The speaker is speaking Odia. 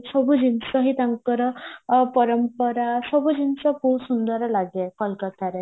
ସବୁ ଜିନିଷ ହିଁ ତାଙ୍କର ପରମ୍ପରା ଅସବୁ ଜିନିଷ ବହୁତ ସୁନ୍ଦର ଲାଗେ କଲକତାରେ